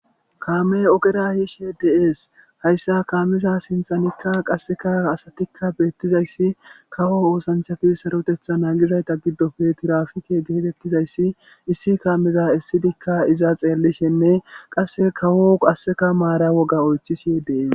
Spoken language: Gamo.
Kamey ogera yishe de'es haysa kameza sinthanka qaseka asatika betizausi kawo oosanchati sarotetha nagizayti eta gidopeka tirapike getetizaysi isso kameza esidika iza xeelishe nne qaseka kawo woga maara oythishe dees